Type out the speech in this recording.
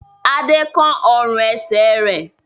Adé kán ọrùn-ẹsẹ̀ rẹ̀?